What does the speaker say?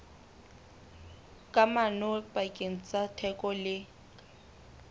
kamano pakeng tsa theko le